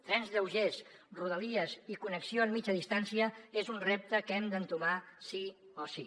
trens lleugers rodalies i connexió en mitja distància és un repte que hem d’entomar sí o sí